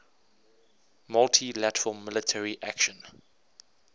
multi lateral military action